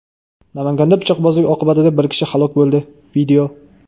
Namanganda pichoqbozlik oqibatida bir kishi halok bo‘ldi.